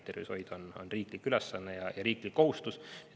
Tervishoid on riiklik ülesanne ja riiklik kohustus.